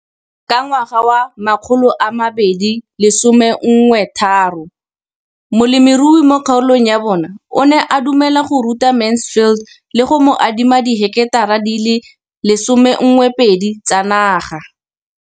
Ka ngwaga wa 2013, molemirui mo kgaolong ya bona o ne a dumela go ruta Mansfield le go mo adima di heketara di le 12 tsa naga.